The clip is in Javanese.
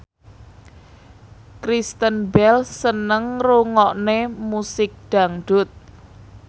Kristen Bell seneng ngrungokne musik dangdut